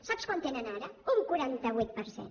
sap quantes en tenen ara un quaranta vuit per cent